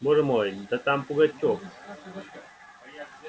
боже мой да там пугачёв